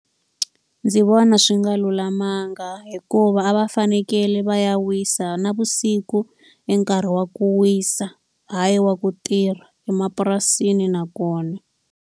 Ndzi vona swi nga lulamanga hikuva a va fanekele va ya wisa, navusiku i nkarhi wa ku wisa hayi wa ku tirha emapurasini nakona.